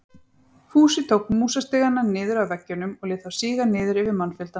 Fúsi tók músastigana niður af veggjunum og lét þá síga niður yfir mannfjöldann.